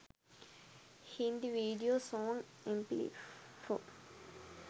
hindi video song mp4